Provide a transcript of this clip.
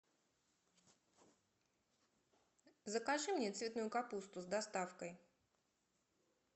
закажи мне цветную капусту с доставкой